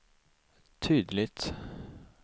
tydligt